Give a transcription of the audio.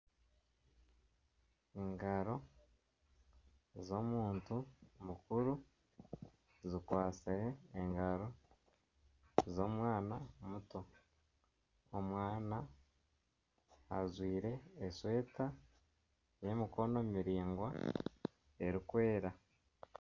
Engaro z'omuntu mukuru zikwatsire engaro z'omwana muto. Omwana ajwaire eshweta ey'emikono miraingwa erikwera.